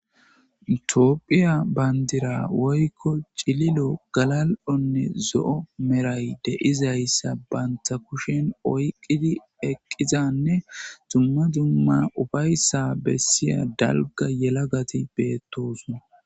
itophphiya bandira woykko cililo galal7onne zo7o meray deizayssa banta kushen oyqqidi eqqizanne dumma dumma ufayssa bessiya dalga yelagati beettosna